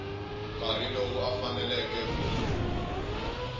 karhi loyi a faneleke ku